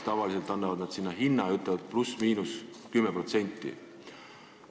Tavaliselt annavad nad hinna ja ütlevad, et ±10%.